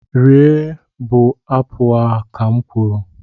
rie bụ apụl a, ka m kwuru!